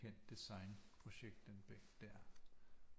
Kendt designprojekt den bænk der